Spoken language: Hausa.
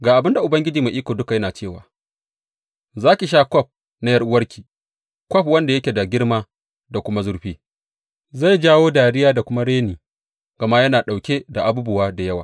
Ga abin da Ubangiji Mai Iko Duka yana cewa, Za ki sha kwaf na ’yar’uwarki, kwaf wanda yake da girma da kuma zurfi; zai jawo dariya da kuma reni gama yana ɗauke da abubuwa da yawa.